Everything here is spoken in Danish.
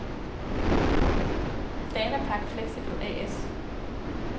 Danapak Flexibel A/S